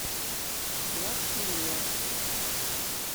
лас пиньяс